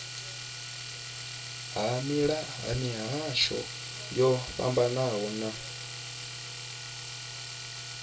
ha mihasho yo fhambanaho ya